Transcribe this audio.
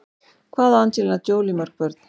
Hvað á Angelina Jolie mörg börn?